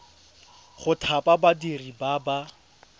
go thapa badiri ba ba